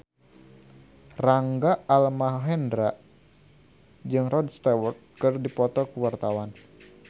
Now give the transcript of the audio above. Rangga Almahendra jeung Rod Stewart keur dipoto ku wartawan